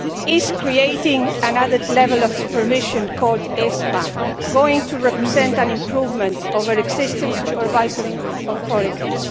Is creating another level of supervision called ESMA going to represent an improvement compared with existing supervisory authorities?